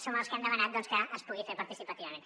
som els que hem demanat doncs que es pugui fer participativament